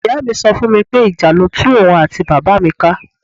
Ìyá mi so fún mi pé ìjà ló tú òun àti bàbá mi ká.